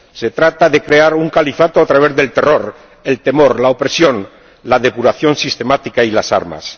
Se trata de crear un califato a través del terror, el temor, la opresión, la depuración sistemática y las armas.